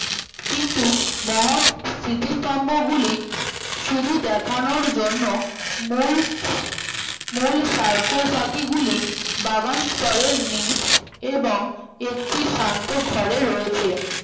কিন্তু মহৎ স্মৃতি স্থভগুলি শুধু দেখানোর জন্য মুলচ sarcophagus গুলি বাগান স্তরের নিচ এবং একটি শান্ত ঘরে রয়েছে